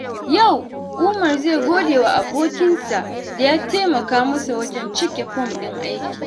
Yau, Umar zai gode wa abokinsa da ya taimaka masa wajen cike fom ɗin aiki.